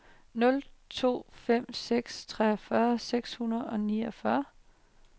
nul to fem seks treogfyrre syv hundrede og niogfyrre